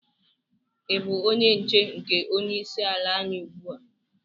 Ị bụ onye nche nke onye isi ala anyi ugbu a?